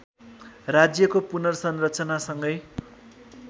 राज्यको पुनर्संरचना सँगै